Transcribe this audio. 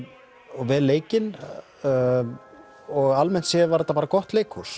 og vel leikin og almennt séð var þetta bara gott leikhús